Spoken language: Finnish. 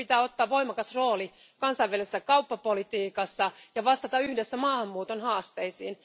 Meidän pitää ottaa voimakas rooli kansainvälisessä kauppapolitiikassa ja vastata yhdessä maahanmuuton haasteisiin.